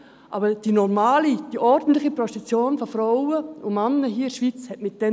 Damit hat aber die normale, die ordentliche Prostitution von Frauen und Männern in der Schweiz nichts zu tun.